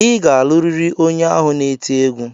Ị ga-alụrịrị onye ahụ na-eti egwu!